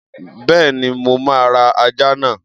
Bẹ́ẹ̀ni, mo máa ra ajá náà.